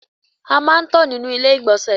A máa ń tọ̀ nínú ilé ìgbọ̀nsẹ̀.